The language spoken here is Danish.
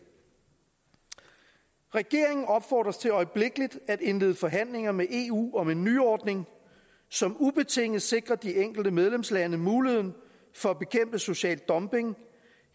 regeringen opfordres til øjeblikkeligt at indlede forhandlinger med eu om en nyordning som ubetinget sikrer de enkelte medlemslande muligheden for at bekæmpe social dumping